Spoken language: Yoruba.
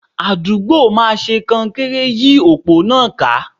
Àdúgbò máa ṣe kọnkéré yí òpó náà ká.